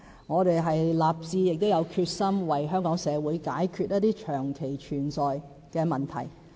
我們已立志，並有決心為香港社會解決一些長期存在的問題。